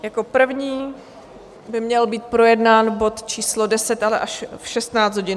Jako první by měl být projednán bod číslo 10, ale až v 16 hodin.